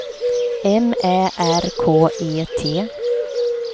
M Ä R K E T